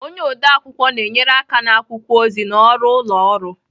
Onye ode akwụkwọ na-enyere aka na akwụkwọ ozi na ọrụ ụlọ ọrụ